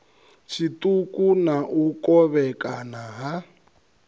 tshiṱuku na u kovhekana ha